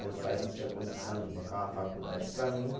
Meus pais não tinha condição de bancar uma faculdade para mim né.